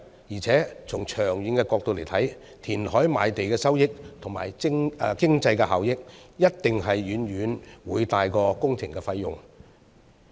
而且從長遠角度來看，填海賣地的收益和經濟效益，一定是遠遠會大於工程費用。